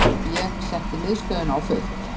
Ég setti miðstöðina á fullt.